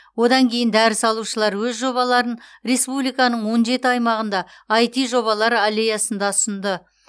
одан кейін дәріс алушылар өз жобаларын республиканың он жеті аймағында іт жобалар аллеясында ұсынды